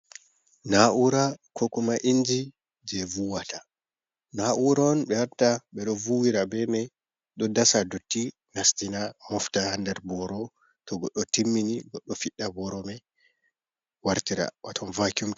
Na’ura ko kuma inji je vuwata, na'ura on ɓe watta ɓe ɗo vuuwira be mai, ɗo dasa dotti nastina mofta ha nder boro, to goɗɗo timmini goɗɗo fiɗɗa booro mai wartira waton vakuum.